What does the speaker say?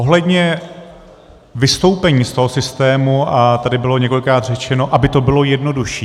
Ohledně vystoupení z toho systému a tady bylo několikrát řečeno, aby to bylo jednodušší.